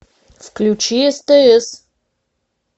включи стс